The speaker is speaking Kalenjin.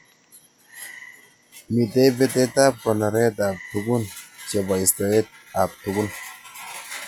Mitei betet ab konoret ab tugun chebo istoet ab tugun.